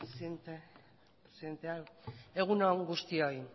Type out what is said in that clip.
eskerrik asko presidente andrea egun on guztioi